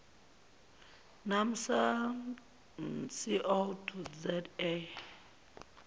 naamsa co za